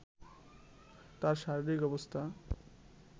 তার শারিরীক অবস্থা